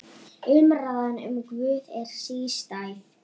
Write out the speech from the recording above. Umræðan um Guð er sístæð.